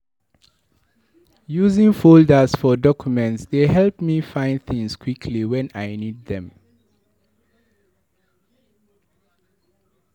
Using folders for documents dey help me find things quickly when I need them.